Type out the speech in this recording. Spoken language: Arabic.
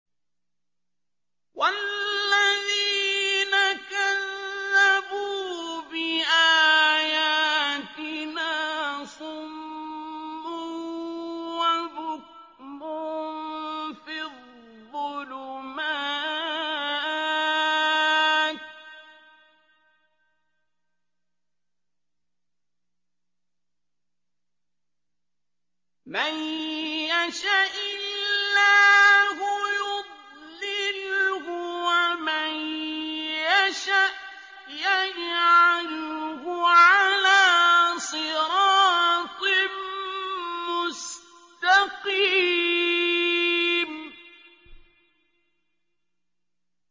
وَالَّذِينَ كَذَّبُوا بِآيَاتِنَا صُمٌّ وَبُكْمٌ فِي الظُّلُمَاتِ ۗ مَن يَشَإِ اللَّهُ يُضْلِلْهُ وَمَن يَشَأْ يَجْعَلْهُ عَلَىٰ صِرَاطٍ مُّسْتَقِيمٍ